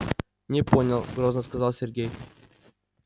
не понял грозно сказал сергей